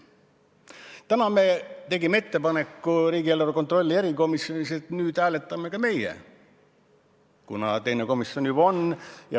Täna me tegime riigieelarve kontrolli erikomisjonis ettepaneku, et nüüd hääletame ka meie, kuna teine komisjon on juba hääletanud.